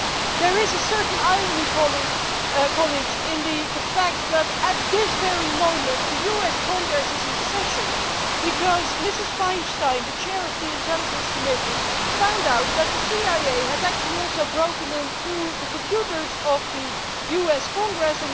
There is a certain irony, colleagues, in the fact that at this very moment the US Congress is in session because Ms Feinstein, the Chair of the Intelligence Committee, found out that the CIA has actually also hacked into the computers of the US Congress.